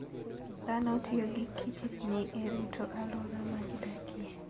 Dhano tiyo gi kichdni e rito alwora ma gidakie.